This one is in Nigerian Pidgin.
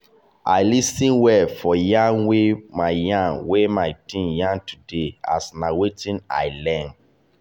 i lis ten well for yarn wey my yarn wey my team yarn today as na wetin i learn.